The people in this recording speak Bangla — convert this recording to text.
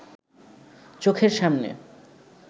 চোখের সামনে